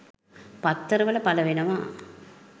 පත්තරවල පලවෙනවා.